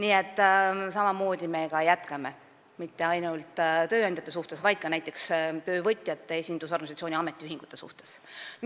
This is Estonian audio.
Ja samamoodi me ka jätkame, mitte ainult suhetes tööandjatega, vaid ka näiteks töövõitjate esindusorganisatsioonide ehk ametiühingutega.